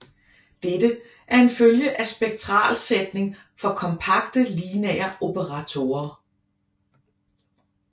Dette er en følge af Spektralsætning for kompakte lineære operatorer